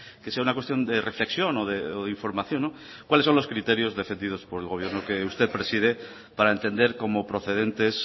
que sea una cuestión de reflexión o de información cuáles son los criterios defendidos por el gobierno que usted preside para entender como procedentes